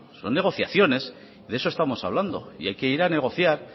son negociaciones de eso estamos hablando y hay que ir a negociar